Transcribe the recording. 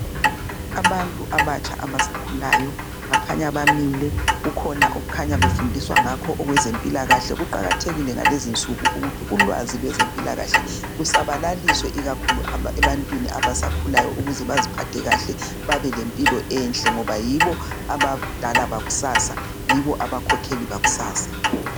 Abantu abatsha abasakhulayo , bakhanya bamile kukhona okukhanya befundiswa ngakho okwezempilakahle. Kuqakathekile ngalezinsuku ukuthi ulwazi lwaze mpilakahle lusabalaliswe ikakhulu ebantwini abasakhulayo ukuze baziphathe kahle . Babe lempilo enhle , ngoba yibo abadala bakusasa, yibo abakhokheli bakusasa.